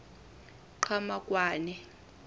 qhamakwane